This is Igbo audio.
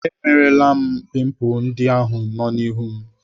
Emelara m pimpul ndị ahụ nọ m n'ihu.